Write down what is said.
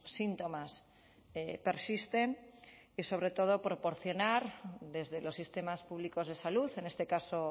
síntomas persisten y sobre todo proporcionar desde los sistemas públicos de salud en este caso